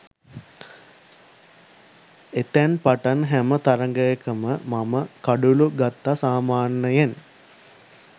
එතැන් පටන් හැම තරඟයකම මම කඩුලු ගත්ත සාමාන්‍යයෙන්